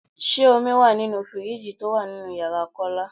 Ṣé omi wá nínú fíríìjiì tó wà nínú ìyára Kọ́lá?